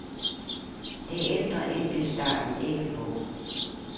Det ændrer enkeltstarten ikke på.